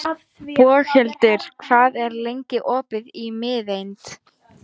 Boghildur, hvað er lengi opið í Miðeind?